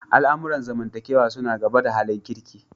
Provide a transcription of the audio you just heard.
Al'amuran zamantakewa suna gaba da halin kirki.